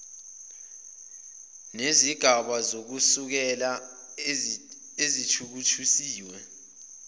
nezigaba zokusekela ezithuthukisiwe